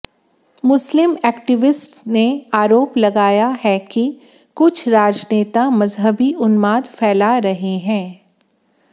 मुस्लिम activists ने आरोप लगाया है कि कुछ राजनेता मजहबी उन्माद फैला रहे हैं